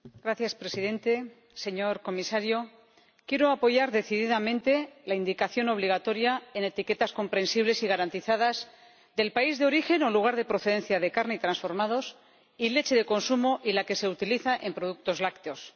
Señor Presidente, señor Comisario, quiero apoyar decididamente la indicación obligatoria, en etiquetas comprensibles y garantizadas, del país de origen o lugar de procedencia de carne y transformados y de la leche de consumo y la que se utiliza en productos lácteos.